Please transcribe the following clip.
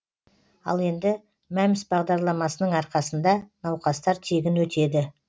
ал енді мәмс бағдарламасының арқасында науқастар тегін өтеді